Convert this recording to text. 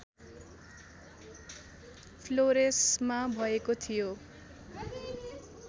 फ्लोरेसमा भएको थियो